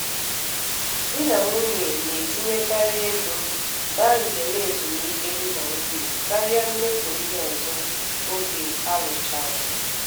di na nwunye na-etinyekarị ego ba njem ezumike di na nwunye karịa mmefu ndị ọzọ oge alụchara.